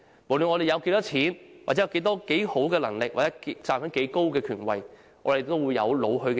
不論我們有多少錢、有多能幹或站在多高的權位，我們也會有老去的一天。